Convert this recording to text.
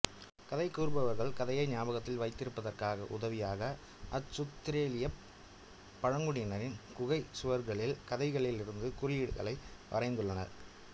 கதை கூறுபவர் கதையை ஞாபகத்தில் வைத்திருப்பதற்கு உதவியாக ஆசுத்திரேலியப் பழங்குடியினர் குகைச் சுவர்களில் கதைகளிலிருந்து குறியீடுகளை வரைந்துள்ளனர்